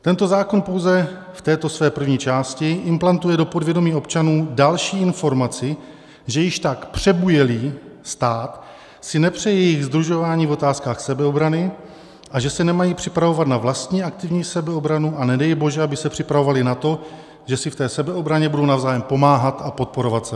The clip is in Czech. Tento zákon pouze v této své první části implantuje do povědomí občanů další informaci, že již tak přebujelý stát si nepřeje jejich sdružování v otázkách sebeobrany a že se nemají připravovat na vlastní aktivní sebeobranu, a nedej bože aby se připravovali na to, že si v té sebeobraně budou navzájem pomáhat a podporovat se.